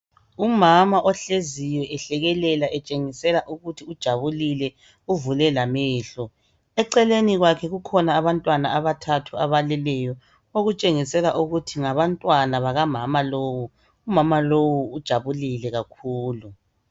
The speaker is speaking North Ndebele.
Umama ohleziyo ehlekelela etshengisela ukuthi ujabulile uvule lamehlo. Eceleni kwakhe kukhona abantwana abathathu abaleleyo okutshengisela ukuthi ngabantwana bakamama lowo. Umama lowu ujabulile kakhulu.